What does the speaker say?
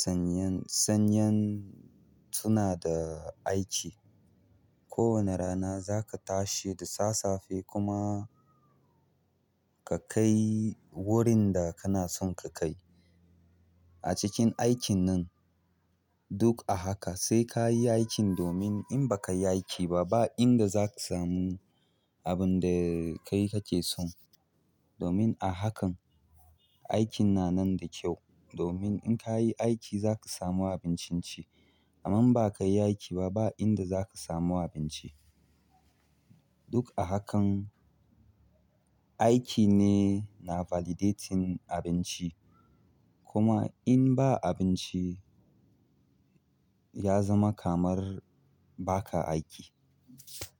sanyan, sanyan tuna da aiki, ko wane rana za ka tashi da sasafe kuma ka kai wurin da kana son ka kai. A cikin aikin nan duk a haka sai ka yi aikin domin in baka yi aiki ba ba inda za ka samu abin da kai kake son. Domin a hakan aikin na nan da kyau domin in ka yi aiki za ka samu abincin ci. Amma in bakayi aiki ba ba inda zaka samu abinci. Duk a hakan aiki ne na validating abinci kuma in ba abinci ya zama kamar ba ka aiki.